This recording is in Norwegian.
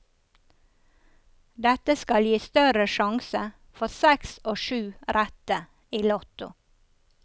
Dette skal gi større sjanse for seks og syv rette i lotto.